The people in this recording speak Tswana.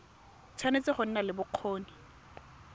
tshwanetse go nna le bokgoni